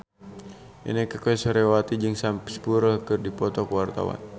Inneke Koesherawati jeung Sam Spruell keur dipoto ku wartawan